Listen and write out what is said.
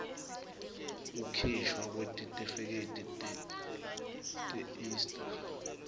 kukhishwa kwetitifiketi teista